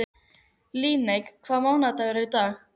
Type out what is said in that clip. Ég var bara orðin leið á þessu eilífa slori.